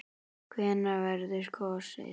Hvenær verður kosið?